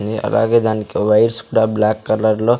అని అలాగే దానికి వైర్స్ కూడా బ్లాక్ కలర్ లో.